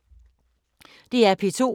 DR P2